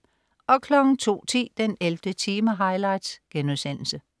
02.10 den 11. time highlights*